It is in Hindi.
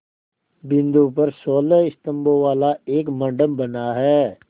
बिंदु पर सोलह स्तंभों वाला एक मंडप बना है